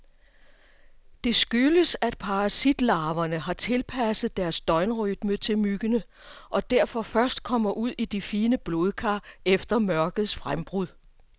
Det skyldes, at parasitlarverne har tilpasset deres døgnrytme til myggene, og derfor først kommer ud i de fine blodkar efter mørkets frembrud.